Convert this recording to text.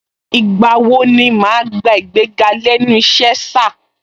Ìgbà wo ni màá gbà igbéga lẹ́nu ìṣe, sà?